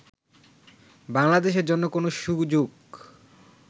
বাংলাদেশের জন্য কোন সুযোগ